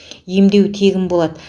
емдеу тегін болады